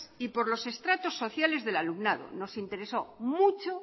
y por los estratos sociales del alumnado nos interesó mucho